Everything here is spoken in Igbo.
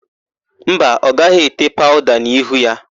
Mba, ọ gaghị ete paụda n'ihu ya.